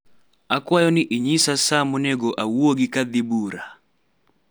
akawyo ni inyisa saa monego awuogi kadhi bura